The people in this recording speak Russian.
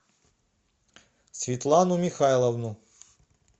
светлану михайловну